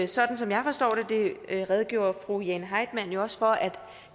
sådan som jeg forstår det det redegjorde fru jane heitmann jo også for at